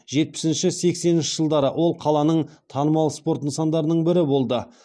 жетпісінші сексенінші жылдары ол қаланың танымал спорт нысандарының бірі болды